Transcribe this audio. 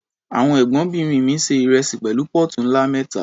Àwọn Ẹ̀gbọ́nbìnrin mi se ìrẹsì pẹ̀lú póòtù ńlá mẹ́ta.